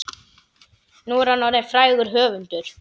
Nú er hann orðinn frægur höfundur.